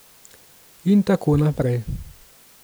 In tako naprej.